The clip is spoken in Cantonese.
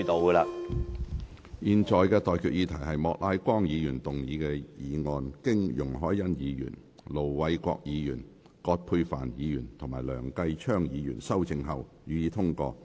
我現在向各位提出的待決議題是：莫乃光議員動議的議案，經容海恩議員、盧偉國議員、葛珮帆議員及梁繼昌議員修正後，予以通過。